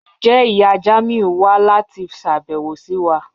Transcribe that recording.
Njẹ iya Jamiu n wa lati ṣabẹwo si wa?